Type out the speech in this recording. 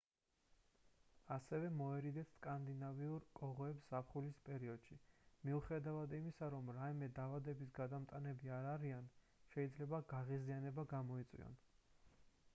ასევე მოერიდეთ სკანდინავიურ კოღოებს ზაფხულის პერიოდში მიუხედავად იმისა რომ რაიმე დაავადების გადამტანები არ არიან შეიძლება გაღიზიანება გამოიწვიონ